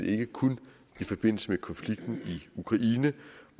ikke kun i forbindelse med konflikten i ukraine